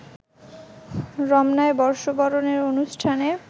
রমনায় বর্ষবরণের অনুষ্ঠানে